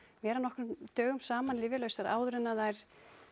vera nokkrum dögum saman lyfjalausar áður en þær